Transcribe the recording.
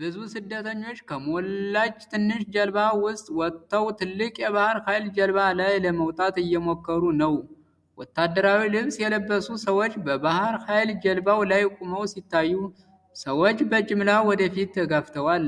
ብዙ ስደተኞች ከሞላች ትንሽ ጀልባ ውስጥ ወጥተው ትልቅ የባህር ኃይል ጀልባ ላይ ለመውጣት እየሞከሩ ነው። ወታደራዊ ልብስ የለበሱ ሰዎች በባህር ኃይል ጀልባው ላይ ቆመው ሲታዩ፣ ሰዎች በጅምላ ወደፊት ተጋፍተዋል።